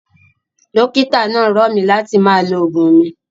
Dókítà náà rọ̀ mí láti máa lo oògùn mi.